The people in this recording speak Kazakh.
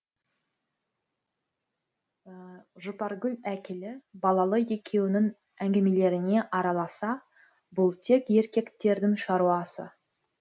жұпаргүл әкелі балалы екеуінің әңгімелеріне араласса бұл тек еркектердің шаруасы